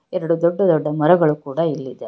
ಎರಡು ದೊಡ್ಡ ದೊಡ್ಡ ಮರಗಳು ಕೂಡ ಇಲ್ಲಿದೆ.